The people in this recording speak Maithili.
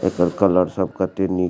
एकर कलर सब केते निक --